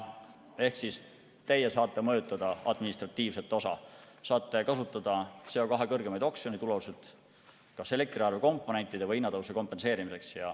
Ehk teie saate mõjutada administratiivset osa, saate kasutada CO2 kõrgemaid oksjonitulusid kas elektriarve komponentide või hinnatõusu kompenseerimiseks.